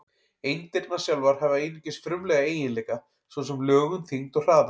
Eindirnar sjálfar hafa einungis frumlega eiginleika, svo sem lögun, þyngd og hraða.